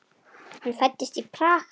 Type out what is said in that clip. Hann fæddist í Prag.